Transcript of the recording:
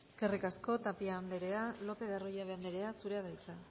eskerrik asko tapia anderea lopez de arroyabe anderea zurea da hitza